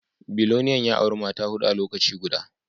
Biliyan ya auri Mata hudu a lokaci guda